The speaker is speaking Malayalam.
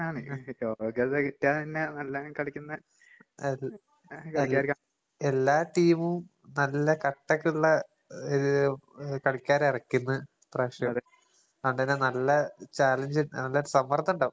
ഉം. അത് അത് എല്ലാ ടീമും നല്ല കട്ടക്കിള്ള ഏഹ് ഉം കളിക്കാരെ എറക്ക്ന്നേ ഇപ്രാവശ്യാണ്. അങ്ങനെ നല്ല ചാലഞ്ച്, നല്ല സമ്മർദ്ദിണ്ടാവും.